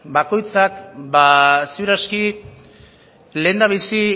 ba ziur aski lehendabizi